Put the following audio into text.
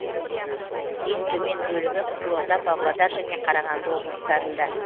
ең төмен бөлігі қызылорда павлодар және қарағанды облыстарында